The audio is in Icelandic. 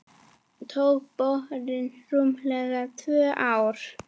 Tók borunin rúmlega tvö ár.